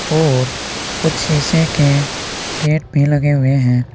और कुछ शीशे के गेट भी लगे हुए हैं।